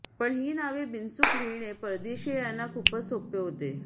पण ही नावे बिनचूक लिहिणे परदेशियांना खूपच सोपे होते